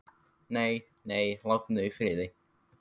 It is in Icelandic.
Nei, nei, látum þau í friði.